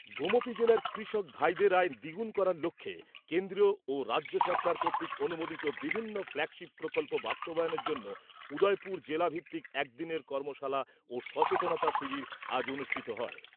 গোমতী জেলার কৃষক ভাইদের আয় দ্বিগুণ করার লক্ষ্যে কেন্দ্রীয় ও রাজ্য সরকার কর্তৃক অনুমোদিত বিভিন্ন ফ্ল্যাগশিপ প্রকল্প বাস্তবায়নের জন্য উদয়পুর জেলা ভিত্তিক একদিনের কর্মশালা ও সচেতনতা শিবির আজ অনুষ্ঠিত হয়।